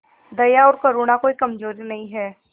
दया और करुणा कोई कमजोरी नहीं है